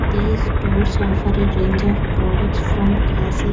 These stores offer a range of products from classic --